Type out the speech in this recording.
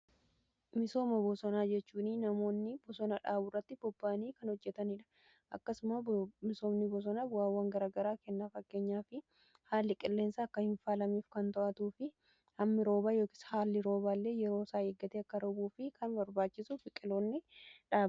Misooma bosonaa jechuun namoonni bosona dhaabu irratti bobba'anii kan hojjetaniidha. Akkasumas misoomni bosonaa bu'aawwan garaa garaa kenna. Fakkeenyaf haalli qilleensa akkaan kan to'atuu fi hammi roobaa yookiin haalli rooba illee yeroo isaa eeggatee akka roobuu fi kan barbaachisu biqiloota dhaabudha.